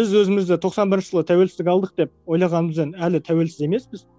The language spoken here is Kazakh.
біз өзімізді тоқсан бірінші жылы тәуелсіздік алдық деп ойлағанымызбен әлі тәуелсіз емеспіз